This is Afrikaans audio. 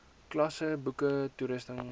klasse boeke toerusting